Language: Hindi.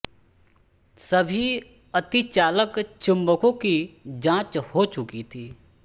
सभी अतिचालक चुम्बकों की जाँच हो चुकी थी